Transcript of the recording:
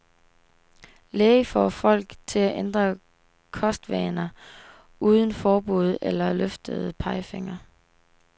Læge får folk til at ændre kostvaner uden forbud eller løftede pegefingre.